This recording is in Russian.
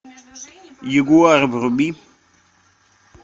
ягуар вруби